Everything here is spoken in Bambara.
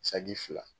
Saki fila